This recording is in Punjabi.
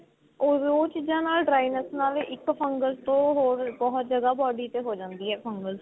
or ਉਹ ਚੀਜ਼ਾ ਨਾਲ dryness ਨਾਲ ਇੱਕ fungus ਤੋਂ ਹੋਰ ਬਹੁਤ ਜਿਆਦਾ body ਤੇ ਹੋ ਜਾਂਦੀ ਏ fungus